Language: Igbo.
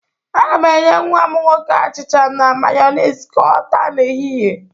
Aga m enye nnwa m nwoke achịcha na Mayonis ka ọ taa n'ehịhịe.